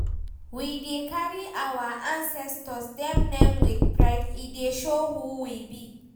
We dey carry our ancestor dem name wit pride, e dey show who we be.